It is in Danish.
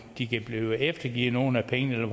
de kan blive eftergivet nogle af pengene